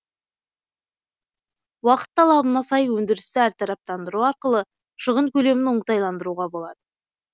уақыт талабына сай өндірісті әртараптандыру арқылы шығын көлемін оңтайландыруға болады